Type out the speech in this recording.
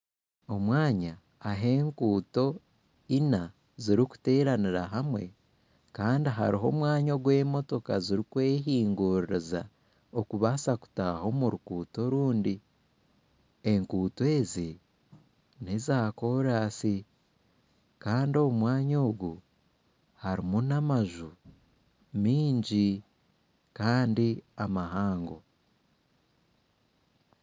Omwanya ahu enguuto Ina zirukuteranira hamwe Kandi hariho omwanya ogw'emotoka zirukwehinguririza okubasa kutaaha omu ruguuto orundi enguuto ezi neza koorasi kandi omu mwanya ogu harimu n'amaju mingi Kandi mahango.